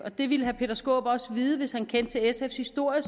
det ville herre peter skaarup også vide hvis han kendte til sfs historie